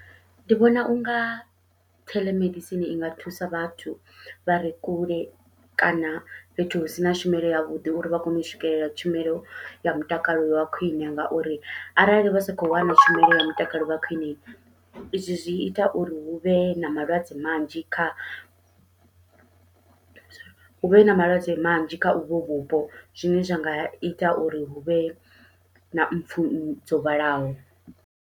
Ndi vhona unga theḽomedisini i nga thusa vhathu vha re kule kana fhethu hu sina tshumelo yavhuḓi uri vha kone u swikelela tshumelo ya mutakalo wa khwiṋe, ngauri arali vha sa khou wana tshumelo ya mutakalo ya khwiṋe izwi zwi ita uri huvhe na malwadze manzhi kha huvhe na malwadze manzhi kha uvho vhupo, zwine zwa nga ita uri huvhe na mpfhu dzo vhalaho.